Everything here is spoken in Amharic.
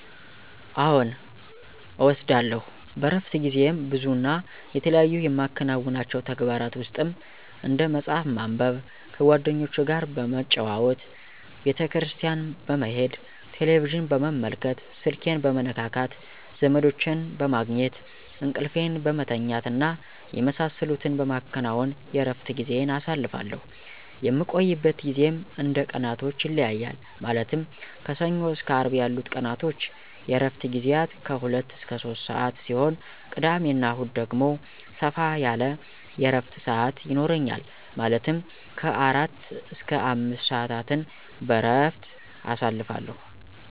አዎን እወስዳለሁ። በእረፍት ጊዜዬም ብዙ እና የተለያዩ የማከናውናቸው ተግባራ ውስጥም፦ እንደ መፅሐፍ ማንበብ፣ ከጓደኞቼ ጋር በመጨዋወት፣ ቤተክርስቲያን በመሄድ፣ ቴሌቪዥን በመመልከት፣ ስልኬን በመነካካት፣ ዘመዶቼን በማግኘት፣ እንቅልፌን በመተኛት እና የመሳሰሉትን በማከናወን የእረፍት ጊዜዬን አሳልፋሁ። የምቆይበት ጊዜም እንደ ቀናቶች ይለያያል ማለትም ከሰኞ እስከ አርብ ያሉት ቀናቶች የእረፍት ግዜያት ከ 2-3 ሰዓት ሲሆን ቅዳሜ እና እሁድ ደግሞ ሰፋ ያለ የእረፍት ሰዓት ይኖረኛል ማለትም ከ 4-5 ሰዓታትን በእረፍት አሳልፋለሁ።